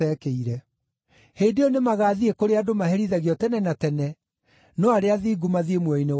“Hĩndĩ ĩyo nĩmagathiĩ kũrĩa andũ maherithagio tene na tene, no arĩa athingu mathiĩ muoyo-inĩ wa tene na tene.”